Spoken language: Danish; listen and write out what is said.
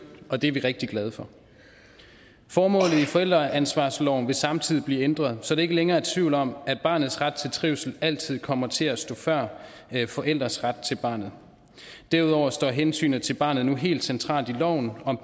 og det er vi rigtig glade for formålet i forældreansvarsloven vil samtidig blive ændret så der ikke længere er tvivl om at barnets ret til trivsel altid kommer til at stå før forældres ret til barnet derudover står hensynet til barnet nu helt centralt i loven om